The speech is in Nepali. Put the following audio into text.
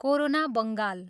कोरोना बङ्गाल।